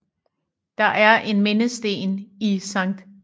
Der er en mindesten i Sct